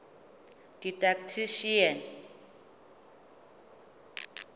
didactician